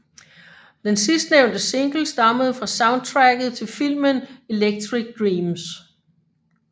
Den sidstnævnte single stammede fra soundtracket til filmen Electric Dreams